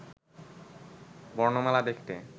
বর্ণমালা দেখতে